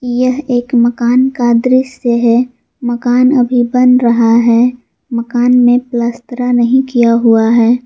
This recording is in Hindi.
यह एक मकान का दृश्य है मकान अभी बन रहा है मकान में पलस्तरा नहीं किया हुआ है।